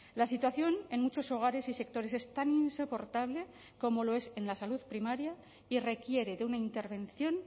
la situación en muchos hogares y sectores es tan insoportable como lo es en la salud primaria y requiere de una intervención